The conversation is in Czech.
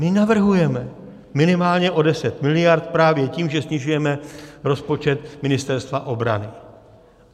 My navrhujeme minimálně o 10 mld. právě tím, že snižujeme rozpočet Ministerstva obrany.